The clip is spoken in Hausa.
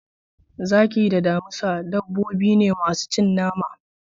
Zaki da damisa dabbobi ne masu cin nama.